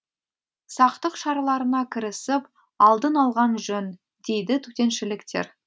сақтық шараларына кірісіп алдын алған жөн дейді төтеншіліктер